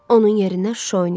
Onun yerinə Şuşa oynayacaq.